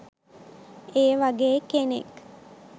ඒ වගේ කෙනෙක්.